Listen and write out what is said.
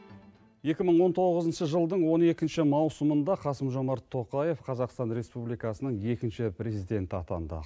екі мың он тоғызыншы жылдың он екінші маусымында қасым жомарт тоқаев қазақстан республикасының екінші президенті атанды